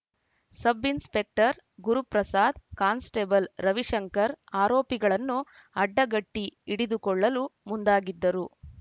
sub inspector Guruprasad constable Ravishankar ಆರೋಪಿಗಳನ್ನು ಅಡ್ಡಗಟ್ಟಿಹಿಡಿದುಕೊಳ್ಳಲು ಮುಂದಾಗಿದ್ದರು